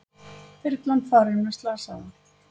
Þyrlan farin með slasaða